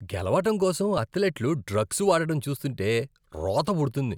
గెలవడం కోసం అథ్లెట్లు డ్రగ్స్ వాడటం చూస్తుంటే రోత పుడుతుంది.